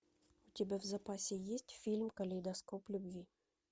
у тебя в запасе есть фильм калейдоскоп любви